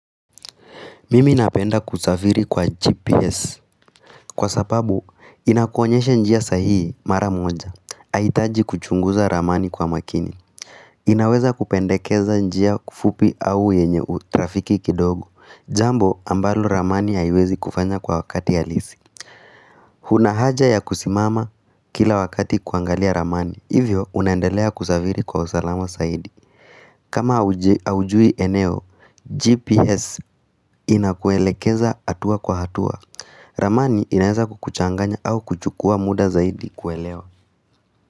Mimi napenda kusafiri kwa GPS. Kwa sababu, inakuonyesha njia sahihi mara moja. Haihitaji kuchunguza ramani kwa makini. Inaweza kupendekeza njia fupi au yenye trafiki kidogo. Jambo ambalo ramani haiwezi kufanya kwa wakati ya halisi. Hunahaja ya kusimama kila wakati kuangalia ramani. Hivyo, unaendelea kusafiri kwa usalama zaidi. Kama haujui eneo, GPS inakuelekeza hatua kwa hatua. Ramani inaeza kukuchanganya au kuchukua muda zaidi kuelewa.